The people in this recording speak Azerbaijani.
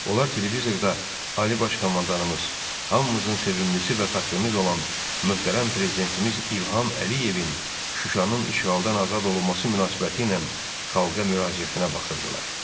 Onlar televizorda Ali Baş Komandanımız, hamımızın sevimlisi və fəxrimiz olan möhtərəm prezidentimiz İlham Əliyevin Şuşanın işğaldan azad olması münasibətilə xalqa müraciətinə baxırdılar.